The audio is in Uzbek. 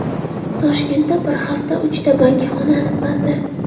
Toshkentda bir haftada uchta bangixona aniqlandi.